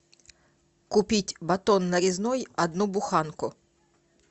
купить батон нарезной одну буханку